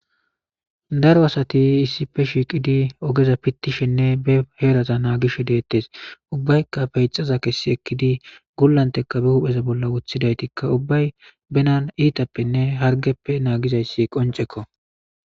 Daro asati issippe shiiqid ogeza pitishenne be heraza nagishe detes, ubbayka peyxaza kesi ekid gulanteka be hu'eza bolla wothidaytka ubbay bena itapenne harigeppe nagizays qoncekko.